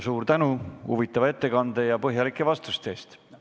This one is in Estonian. Suur tänu huvitava ettekande ja põhjalike vastuste eest!